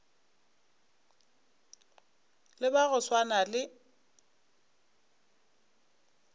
le ba go swana le